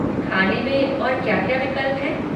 खाने में और क्या क्या विकल्प हैं?